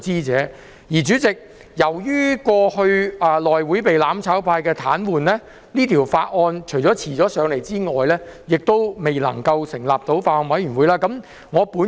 代理主席，由於過去內務委員會被"攬炒派"癱瘓，除了令這法案遲交上來外，亦未能成立法案委員會來審議。